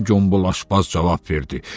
Ən kobul aşbaz cavab verdi.